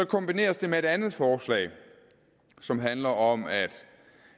kombineres med et andet forslag som handler om at